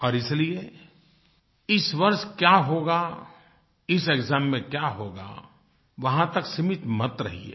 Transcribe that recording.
और इसलिए इस वर्ष क्या होगा इस एक्साम में क्या होगा वहाँ तक सीमित मत रहिये